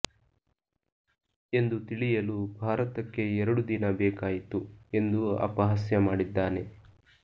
ಎಂದು ತಿಳಿಯಲು ಭಾರತಕ್ಕೆ ಎರಡು ದಿನ ಬೇಕಾಯಿತು ಎಂದು ಅಪಹಾಸ್ಯ ಮಾಡಿದ್ದಾನೆ